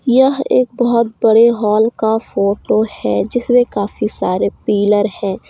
यह एक बहुत बड़े हॉल का फोटो है जिसमें काफी सारे पिलर हैं।